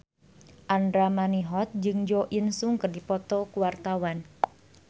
Andra Manihot jeung Jo In Sung keur dipoto ku wartawan